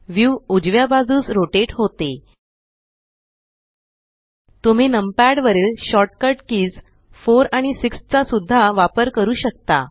view उजव्या बाजूस rotate होतेltpgt तुम्ही नमपॅड वरील शॉर्ट कट कीज 4आणि 6चा सुद्धा वापर करू शकता